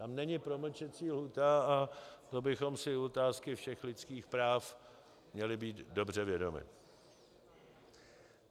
Tam není promlčecí lhůta a to bychom si u otázky všech lidských práv měli být dobře vědomi.